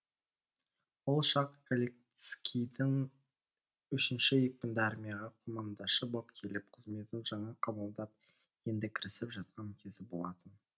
ол шақ галицкийдің үшінші екпінді армияға командашы боп келіп қызметін жаңа қабылдап енді кірісіп жатқан кезі болатын